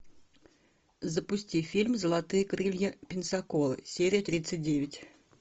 запусти фильм золотые крылья пенсаколы серия тридцать девять